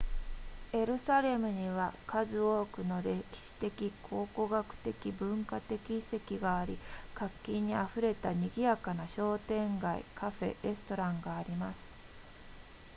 エルサレムには数多くの歴史的考古学的文化的遺跡があり活気に溢れた賑やかな商店街カフェレストランがあります